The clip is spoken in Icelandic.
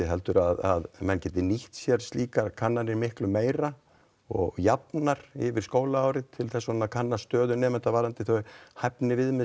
heldur að menn geti nýtt sér slíkar kannanir miklu meira og jafnar yfir skólaárið til að kanna stöðu nemenda varðandi þau hæfniviðmið